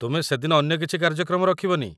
ତୁମେ ସେ'ଦିନ ଅନ୍ୟ କିଛି କାର୍ଯ୍ୟକ୍ରମ ରଖିବନି।